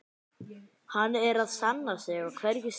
Hann er að sanna sig á hverju stigi.